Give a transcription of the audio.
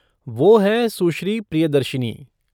वो हैं सुश्री प्रियदर्शिनी।